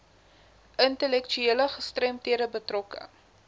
intellektuele gestremdhede betrokke